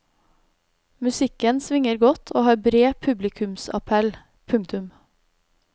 Musikken svinger godt og har bred publikumsappell. punktum